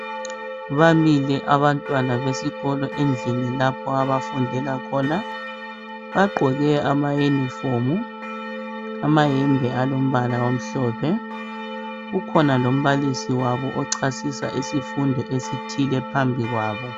Bamile abantwana besikolo endlini lapho abafundela khona , bagqoke ama uniform , amayembe alombala omhlophe , ukhona lombalisi wabo ochasisa isifundo esithile phambi kwabo